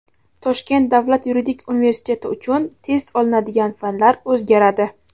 Toshkent davlat yuridik universiteti uchun test olinadigan fanlar o‘zgaradi.